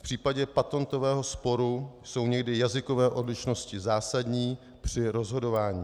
V případě patentového sporu jsou někdy jazykové odlišnosti zásadní při rozhodování.